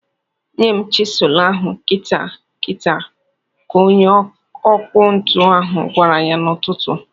"Nye m chịsụlụ ahụ kịta kịta!" ka onye ọkụ ntu ahụ gwara ya n'ụtụtụ.